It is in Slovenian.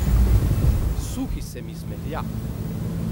Suhi se mi smehlja.